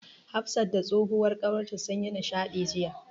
Hafsa da tsohuwar ƙawarta sun yi nishaɗi jiya.